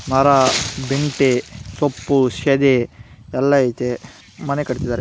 ಮರಾ ಬಿಂತೆ ಸೊಪ್ಪು ಸಿದೆ ಎಲ್ಲಾ ಐತೆ ಮನೆ ಕಟ್ಟಿದರೆ ಇಲ್ಲಿ .